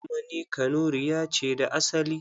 Kuma ni Kanuriya ce da asali.